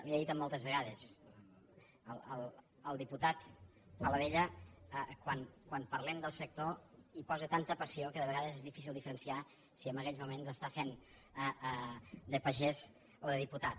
ho he dit moltes vegades el diputat paladella quan parlem del sector hi posa tanta passió que de vegades és difícil diferenciar si en aquells moments està fent de pagès o de diputat